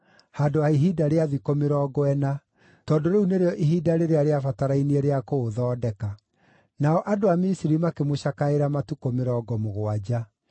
handũ ha ihinda rĩa thikũ mĩrongo ĩna, tondũ rĩu nĩrĩo ihinda rĩrĩa rĩabatarainie rĩa kũũthondeka. Nao andũ a Misiri makĩmũcakaĩra matukũ mĩrongo mũgwanja.